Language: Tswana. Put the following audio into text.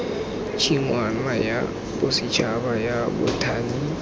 tshingwana ya bosetšhaba ya bothani